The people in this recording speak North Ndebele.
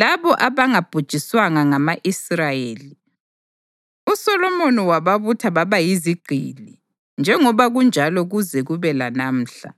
labo abangabhujiswanga ngama-Israyeli, uSolomoni wababutha baba yizigqili: njengoba kunjalo kuze kube lanamhla.